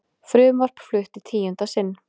Frumvarp flutt í tíunda sinn